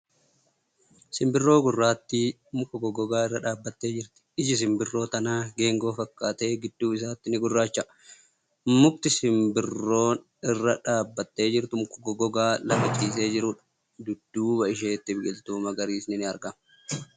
Simbirroo gurraattii muka goggogaa irra dhaabbattee jirti. Iji simbirroo tanaa geengoo fakkaatee gidduu isaatti ni gurraacha'a. Mukni simbirroi irra dhaabbachaa jirtu muka goggogaa lafa ciisee jiruudha. Dudduuba isheetti biqiltuu magariisni ni argama.